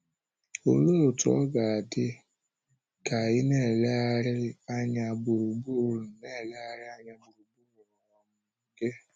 Olee otú ọ ga-adị gị ka ị na-elegharị anya gburugburu na-elegharị anya gburugburu um gị?